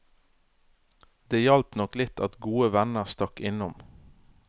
Det hjalp nok litt at gode venner stakk innom.